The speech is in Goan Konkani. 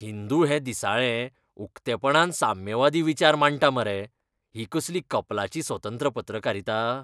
हिंदू हें दिसाळें उक्तेपणान साम्यवादी विचार मांडटा मरे, ही कसली कपलाची स्वतंत्र पत्रकारिता!